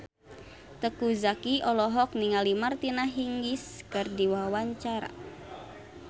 Teuku Zacky olohok ningali Martina Hingis keur diwawancara